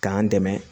K'an dɛmɛ